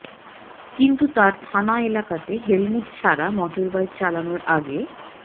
কিন্তু তাঁর থানা এলাকাতে হেলমেট ছাড়া মোটরবাইক চালানোর আগে